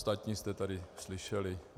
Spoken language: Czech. Ostatní jste tady slyšeli.